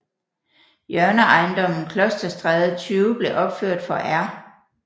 Hjørneejendommen Klosterstræde 20 blev opført for R